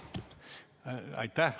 Aitäh!